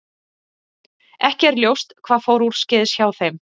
Ekki er ljóst hvað fór úrskeiðis hjá þeim.